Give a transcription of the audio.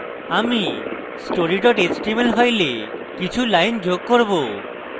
আমি story html file কিছু lines যোগ করব